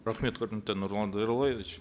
рахмет құрметті нұрлан зайроллаевич